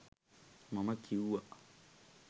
මම කිව්වා